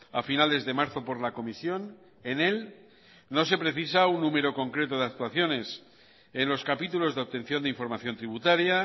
a finales de marzo por la comisión en él no se precisa un número concreto de actuaciones en los capítulos de obtención de información tributaria